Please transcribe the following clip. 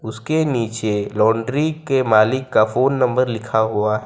उसके नीचे लॉन्ड्री के मालिक का फोन नंबर लिखा हुआ--